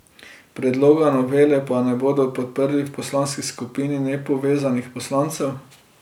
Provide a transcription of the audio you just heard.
Predloga novele pa ne bodo podprli v poslanski skupini nepovezanih poslancev.